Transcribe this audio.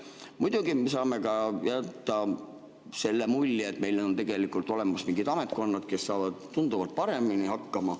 Muidugi, me saame ka jätta selle mulje, et meil on tegelikult olemas mingid ametkonnad, kes saavad tunduvalt paremini hakkama.